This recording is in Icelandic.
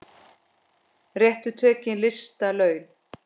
Réttu tökin lista laun.